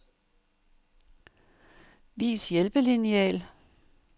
Vis hjælpelineal.